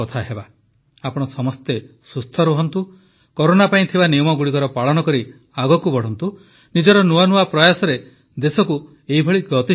ଆପଣ ସମସ୍ତେ ସୁସ୍ଥ ରହନ୍ତୁ କରୋନା ପାଇଁ ଥିବା ନିୟମଗୁଡ଼ିକର ପାଳନ କରି ଆଗକୁ ବଢ଼ନ୍ତୁ ନିଜର ନୂଆ ନୂଆ ପ୍ରୟାସରେ ଦେଶକୁ ଏଭଳି ଗତିଶୀଳ କରୁଥାନ୍ତୁ